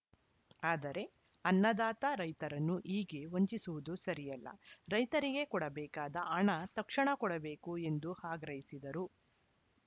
ಆದರೆ ಅನ್ನದಾತ ರೈತರನ್ನು ಹೀಗೆ ವಂಚಿಸುವುದು ಸರಿಯಲ್ಲ ರೈತರಿಗೆ ಕೊಡಬೇಕಾದ ಹಣ ತಕ್ಷಣ ಕೊಡಬೇಕು ಎಂದು ಆಗ್ರಹಿಸಿದರು